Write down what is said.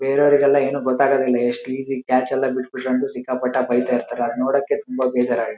ಬೇರೆಯವ್ರಿಗೆಲ್ಲ ಏನು ಗೊತಾಗೋದಿಲ್ಲ ಎಸ್ಟ್ ಈಜಿ ಕ್ಯಾಚ್ ಎಲ್ಲ ಬಿಡ್ಕೊಂಡು ಸಿಕ್ಕಾಪಟ್ಟೆ ಬೈತಾ ಇರ್ತರೆ ಅದ್ ನೋಡೋಕೆ ತುಂಬ ಬೇಜಾರ್ ಆಗು --